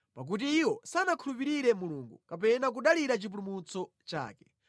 pakuti iwo sanakhulupirire Mulungu kapena kudalira chipulumutso chake.